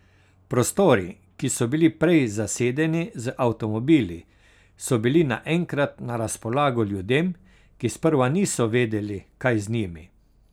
Prostori, ki so bili prej zasedeni z avtomobili, so bili naenkrat na razpolago ljudem, ki sprva niso vedeli, kaj z njimi.